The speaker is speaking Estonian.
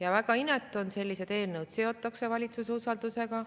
On väga inetu, et sellised eelnõud seotakse valitsuse usaldusega.